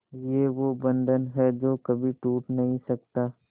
ये वो बंधन है जो कभी टूट नही सकता